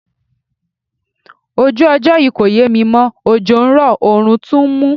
Ojú ọjọ́ yí kò yẹ mi mọ́, òjò ń rọ̀, òórùn tún ń mú.